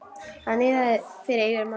Það niðaði fyrir eyrum hans.